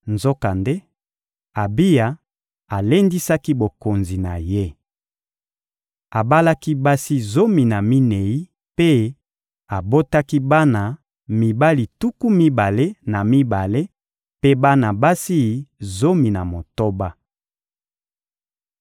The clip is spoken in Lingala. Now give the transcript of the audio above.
Nzokande, Abiya alendisaki bokonzi na ye. Abalaki basi zomi na minei mpe abotaki bana mibali tuku mibale na mibale mpe bana basi zomi na motoba. (1Ba 15.7-8)